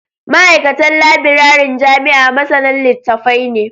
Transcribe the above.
Ma'aikatan labiraren jami'a masanan litattafai ne